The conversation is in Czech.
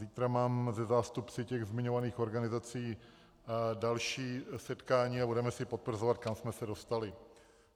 Zítra mám se zástupci těch zmiňovaných organizací další setkání a budeme si potvrzovat, kam jsme se dostali.